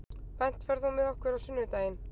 Bent, ferð þú með okkur á sunnudaginn?